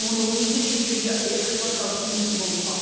оны өңдеп шетелге экспорттау тиімсіз болып қалды